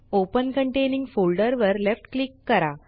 open containing folder वर left click करा